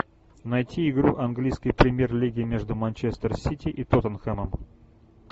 найти игру английской премьер лиги между манчестер сити и тоттенхэмом